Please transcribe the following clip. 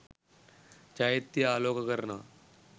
චෛත්‍යය ආලෝක කරනව.